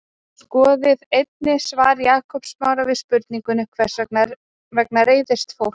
skoðið einnig svar jakobs smára við spurningunni hvers vegna reiðist fólk